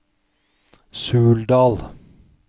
Suldal